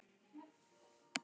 Hann hafði slegið í gegn.